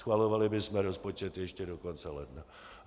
Schvalovali bychom rozpočet ještě do konce ledna.